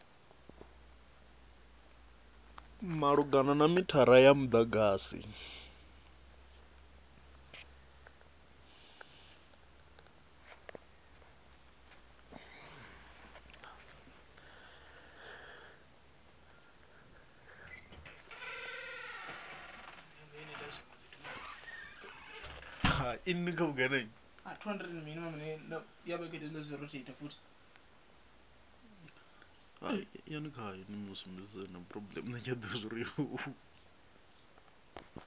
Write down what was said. malugana na mithara wa mudagasi